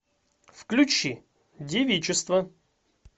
включи девичество